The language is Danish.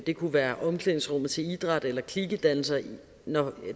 det kunne være omklædningsrummet til idræt eller klikedannelser når